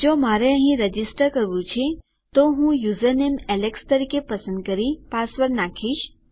જો મારે અહીં રજીસ્ટર કરવું છે તો હું યુઝરનેમ એલેક્સ તરીકે પસંદ કરી પાસવર્ડ નાખીશ